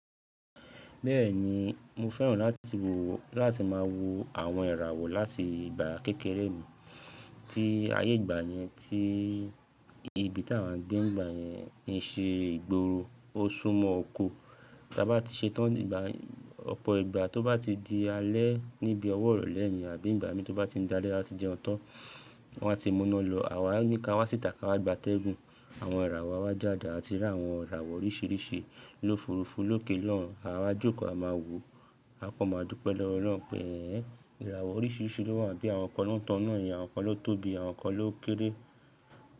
Bẹ́ẹ̀ni, mo fẹ́ràn láti wo láti má a wo àwọn ìràwọ̀ láti ìgbà kékeré mi tí ayé ìgbà yẹn tí ibi tí à ń gbé ìgbà yẹn ń ṣe ìgboro, ó súmọ́ oko. Tí a bá ti ṣe tán ìgbà ọ̀pọ̀ ìgbà tó bá ti di alẹ́ níbi ọwọ́ ìrọ̀lẹ́ yẹn àbí ìgbà mi tó bá ti di alẹ́ ati jẹun tan, wọ́n á ti mú ina lọ, àwa á ní ká wá sìta ká wá gba tẹ́gùn. Àwọn ìràwọ̀ á wá jáde àti rí àwọn ìràwọ̀ oríṣiríṣi lófurufú lókè lohun, àwa jókòó a máa wò ó, a kò máa dúpẹ́ lọ́wọ́ Ọlọ́run pé ẹ́́n ìràwọ̀ oríṣiríṣi ló wà bí àwọn kan ló tàn ina yẹn, àwọn kan ló tóbi àwọn kan ló kéré.